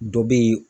Dɔ be ye